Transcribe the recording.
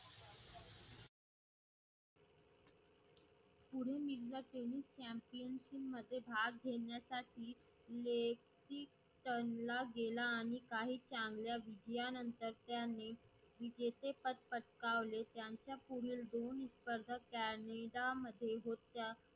मध्ये भाग घेण्यासाठी लेखीनला गेला आणि काही चांगल्या विजयानंतर त्यांनी वेजेचे पद पतकावले. त्यांच्या पुढील दोन स्पर्ध Canada मध्ये होत्या.